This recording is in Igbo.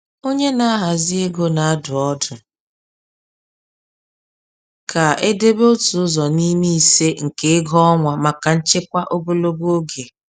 Onye na-ahazi ego na-adụ ọdụ ka e debe otu ụzọ n’ime ise nke ego ọnwa maka nchekwa ogologo oge.